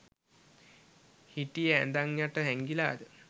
හිටියේ ඇඳන් යට හැංගිලාද?